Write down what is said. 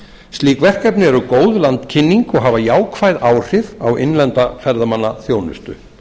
slík verkefni eru góð landkynning og hafa jákvæð áhrif á innlenda ferðamannaþjónustu